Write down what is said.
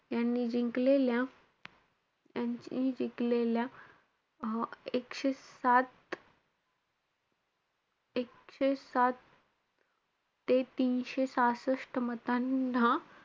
यांनी जिंकलेल्या यांनी~ यांनी जिकलेल्या अं एकशे सात एकशे सात ते तीनशे सहासष्ट मतांना,